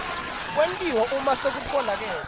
kwentiwa uma sekutfolakele